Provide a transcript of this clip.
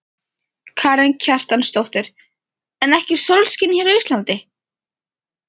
Karen Kjartansdóttir: En ekki sólskins hér á Íslandi?